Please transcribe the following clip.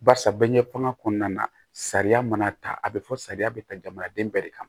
Barisa bɛɛ ɲɛfɔ kɔnɔna na sariya mana ta a bɛ fɔ sariya bɛ ta jamanaden bɛɛ de kan